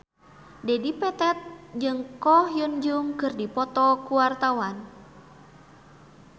Dedi Petet jeung Ko Hyun Jung keur dipoto ku wartawan